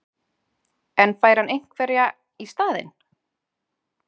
En fær hann einhverjar í staðinn?